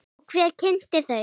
Og hver kynnti þau?